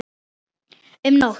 um nótt.